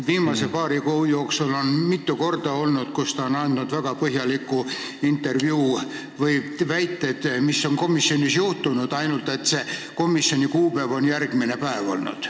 Viimase paari kuu jooksul on ta mitu korda andnud väga põhjaliku intervjuu, rääkides sellest, mis on komisjonis juhtunud, ainult et see komisjoni istungi kuupäev on järgmine päev olnud.